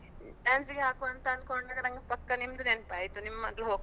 dance class ಗೆ ಹಾಕುವ ಅಂತ ಅನ್ಕೊಂಡ್ರೆ ನನ್ಗೆ ಪಕ್ಕ ನಿಮ್ದು ನೆನಪಾಯ್ತು ನಿಮ್ಮ ಮಗ್ಳು.